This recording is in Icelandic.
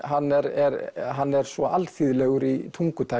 hann er hann er svo alþýðlegur í